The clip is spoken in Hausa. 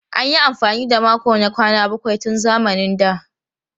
An yi amfani da makon na kwana bakwai tun zamanin da.